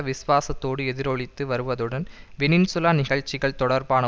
விசுவாசத்தோடு எதிரொலித்து வருவதுடன் வெனின்சூலா நிகழ்ச்சிகள் தொடர்பான